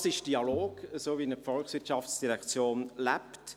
Dies ist der Dialog, wie ihn die VOL lebt.